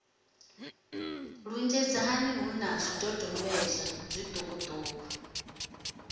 lunzhedzana hu na zwidodombedzwa zwiṱukuṱuku